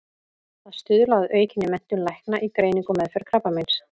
Að stuðla að aukinni menntun lækna í greiningu og meðferð krabbameins.